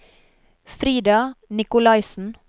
Frida Nicolaisen